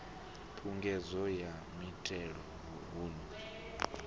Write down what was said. phungudzo ya mithelo hun o